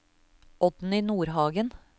Oddny Nordhagen